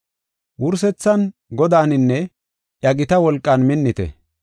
Wursethan, Godaaninne iya gita wolqan minnite.